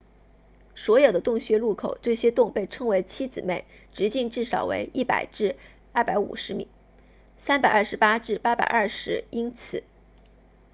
所有的洞穴入口这些洞被称为七姊妹直径至少为100至250米328至820英尺